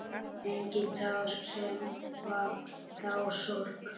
Engin tár sefa þá sorg.